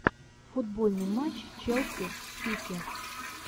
футбольный матч челси с сити